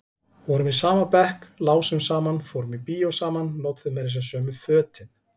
Vorum í sama bekk, lásum saman, fórum í bíó saman, notuðum meira segja sömu fötin.